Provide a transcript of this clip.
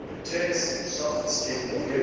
protect soft skinned vehicles